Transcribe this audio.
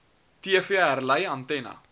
tv herlei antenna